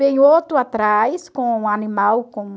Vem outro atrás, com um animal, com...